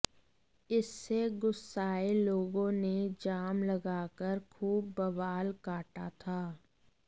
इससे गुस्साए लोगों ने जाम लगाकर खूब बवाल काटा था